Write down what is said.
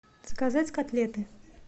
заказать котлеты